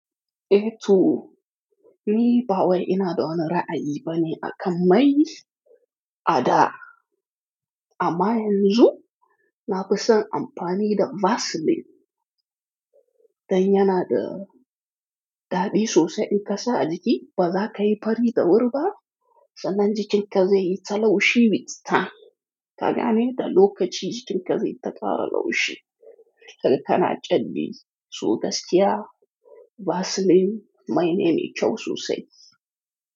Eh to. Ni ba wai ina da wani ra'ayi bane akan mai a da. Amma yanzu na fi son amfani da Vaseline. Dan yana da ɗaɗi sosai in ka sa a jiki ba za ka yi fari da wuriba sannan jikinka zaiyi ta laushine mitsta. Ka gane da lokaci jikinka zai takara laushi. Karka na jan ni, so gaskiya Vaseline mai ne mai kyau sosai.